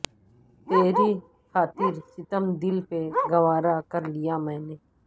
تری خاطر ستم دل پہ گوا رہ کرلیا میں نے